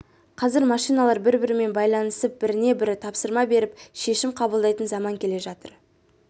қазір машиналар бір-бірімен байланысып біріне бірі тапсырма беріп шешім қабылдайтын заман келе жатыр